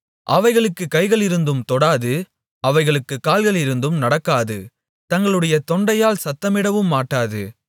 அவைகளுக்குக் கைகளிருந்தும் தொடாது அவைகளுக்குக் கால்களிருந்தும் நடக்காது தங்களுடைய தொண்டையால் சத்தமிடவும் மாட்டாது